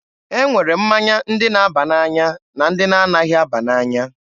E nwere mmanya ndị na-aba n'anya na ndị na anaghị aba n'anya.